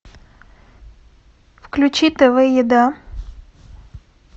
включи тв еда